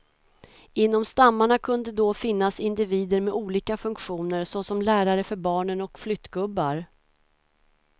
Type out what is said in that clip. Inom stammarna kunde då finnas individer med olika funktioner, såsom lärare för barnen och flyttgubbar.